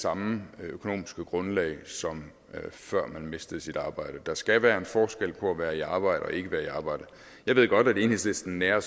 samme økonomiske grundlag som før man mistede sit arbejde der skal være en forskel på at være i arbejde og ikke være i arbejde jeg ved godt at enhedslisten nærer